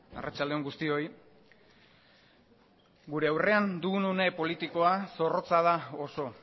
arratsalde on guztioi gure aurrean dugun une politikoa zorrotza da oso